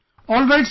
Alright sir